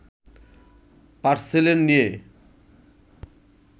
পার্সেলের নিয়ে